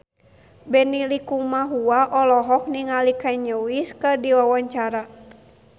Benny Likumahua olohok ningali Kanye West keur diwawancara